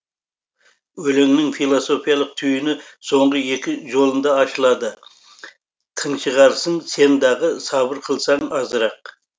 өлеңнің философиялық түйіні соңғы екі жолында ашылады тыншығарсың сен дағы сабыр қылсаң азырақ